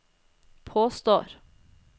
påstår